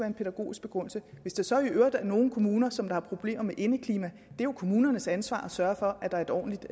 en pædagogisk begrundelse hvis der så i øvrigt er nogle kommuner som har problemer med indeklima jo er kommunernes ansvar at sørge for at der er et ordentligt